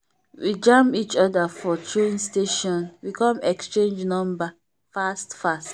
we jam each other for train station we come exchange number fast fast.